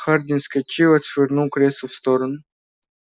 хардин вскочил и отшвырнул кресло в сторону